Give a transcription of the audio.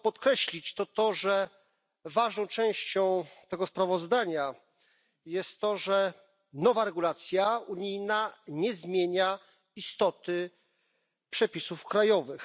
Warto podkreślić, że ważną częścią tego sprawozdania jest to, że nowa regulacja unijna nie zmienia istoty przepisów krajowych.